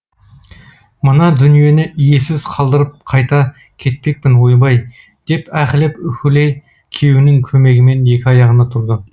мына дүниені иесіз қалдырып қайда кетпекпін ойбай деп аһілеп уһілей күйеуінің көмегімен екі аяғына тұрды